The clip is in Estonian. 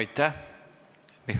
Aitäh!